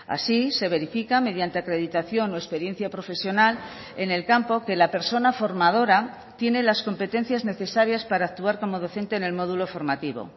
así se verifica mediante acreditación o experiencia profesional en el campo que la persona formadora tiene las competencias necesarias para actuar como docente en el módulo formativo